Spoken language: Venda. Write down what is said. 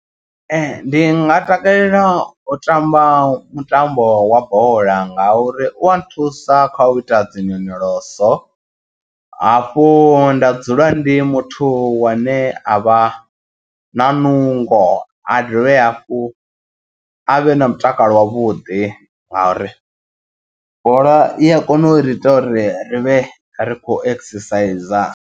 Ee ndi nga takalela u tamba mutambo wa bola nga uri u a nthusa kha u ita dzi nyonyoloso. Hafhu nda dzula ndi muthu wane a vha na nungo a dovhe hafhu a vhe na mutakalo wavhuḓi. Nga uri bola i a kona u ri ita uri ri vhe ri khou exerciser.